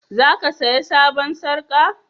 Za ka saya sabon sarka?